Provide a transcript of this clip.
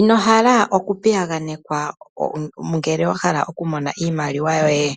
Inohala okupiyagwanekwa ngele wahala okumona iimaliwa yoye,